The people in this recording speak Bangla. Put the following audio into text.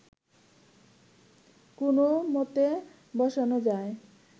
কোনও মতে বসানো যায়